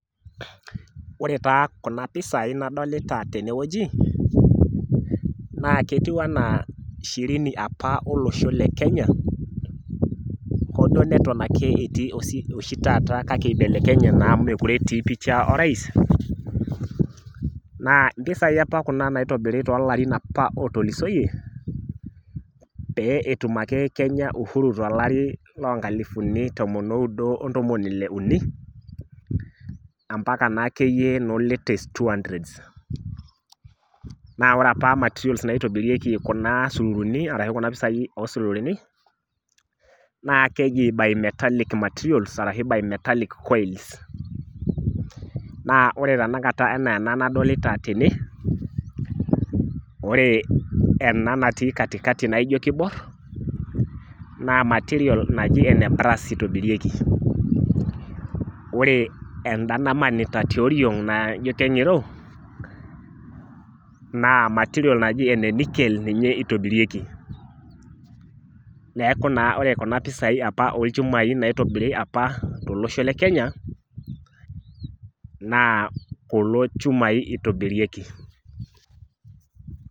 Ore taa kuna pisai nadolita tenewueji, naa ketiu enaa shirini apa olosho le Kenya, hoduo neton ake etii oshi taata kake ibelekenye naa mekure etii pisha orais, naa mpisai apa kuna naitobiri tolarin apa otulusoyie, pee etum ake Kenya Uhuru tolari lonkalifuni tomon oudo ontomoni ile uni, ampaka nakeyie no latest two hundreds. Na ore apa materials naitobirieki kuna sururuni arashu kuna pisai osururuni, naa keji bimetallic materials, arashu bimetallic coils. Na ore tanakata enaa ena nadolita tene, ore ena natii katikati naijo kibor, naa material naji ene brass itobirieki. Ore enda namanita tiorong' naa ijo keng'iro, naa material naji ene nickel ninye itobirieki. Neeku naa ore kuna pisai apa olchumai naitobiri apa tolosho le Kenya, naa kulo chumai itobirieki.